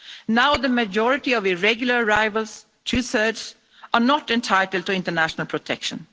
Now the majority of irregular rivals two thirds are not entitled to international protection.